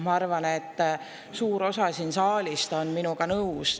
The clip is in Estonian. Ma arvan, et suur osa saalist on minuga nõus.